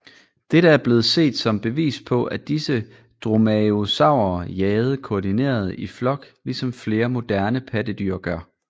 Dette er blevet set som bevis på at disse dromaeosaurer jagede koordineret i flok ligesom flere moderne pattedyr gør